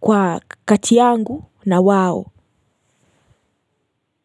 kwa katiyangu na wao.